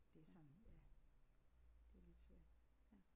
Det er sådan ja det er lidt svært